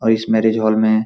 और इस marriage hall में --